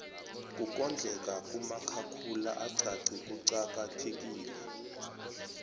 kukondleka kumakhakhula axaxhe kuqaka thekile